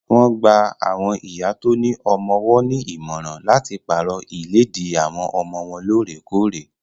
Wọ́n gba awọn ìyá tó ní ọmọ-ọwọ́ nímọ̀ràn láti pàrọ̀ ìléèdí àwọn ọmọ wọ́n loorekore